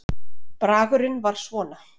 Bragurinn var svona